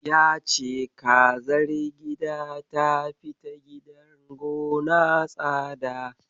Ya ce kazar gida ta fi ta gidan gona tsada.